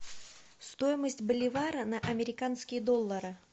стоимость боливара на американские доллары